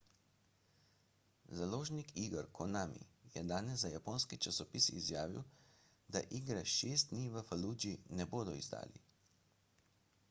založnik iger konami je danes za japonski časopis izjavil da igre šest dni v faludži ne bodo izdali